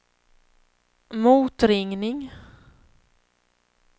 motringning